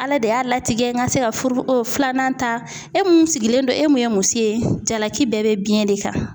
Ala de y'a latigɛ n ka se ka furu, filanan ta e mun sigilen don e mun ye muso ye jalaki bɛɛ bɛ de kan